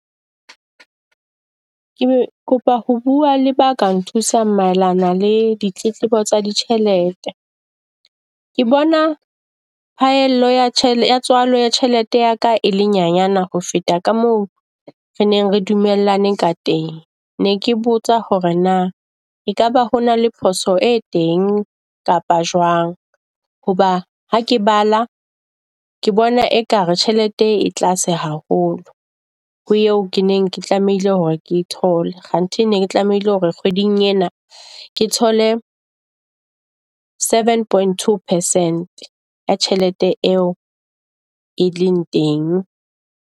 Ke kopa ho bua le ba ka nthusa maelana le ditletlebo tsa ditjhelete. Ke bona phaello ya tswalo tjhelete ya ka ele nyenyana ho feta ka moo re neng re dumellane ka teng, ne ke botsa hore na ekaba ho na le phoso e teng kapa jwang. Hoba ha ke bala, ke bona ekare tjhelete e tlase haholo ho eo ke neng ke tlamehile hore ke tlamehile hore ke e thole. Kganthe ne ke tlamehile hore kgweding ena ke thole seven point two percent ya tjhelete eo e leng teng.